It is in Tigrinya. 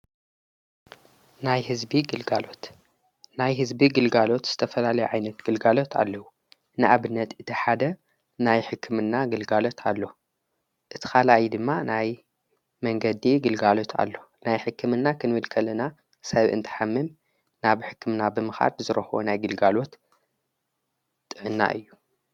ናይናይ ሕዝቢ ግልጋሎት ዝተፈላለይ ዓይነት ግልጋሎት ኣለዉ ንኣብነት እቲ ሓደ ናይ ሕክምና ግልጋሎት ኣለዉ እቲ ኻልእይ ድማ ናይ መንገዲ ግልጋሎት ኣለዉ ናይ ሕክምና ኽንብልከልና ሰብ እንተሓምም ናብ ሕክምና ብምኻድ ዝረኾቦ ናይ ግልጋሎት ጥእና እዩ።